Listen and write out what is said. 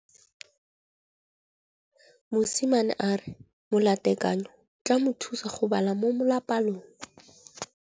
Mosimane a re molatekanyô o tla mo thusa go bala mo molapalong.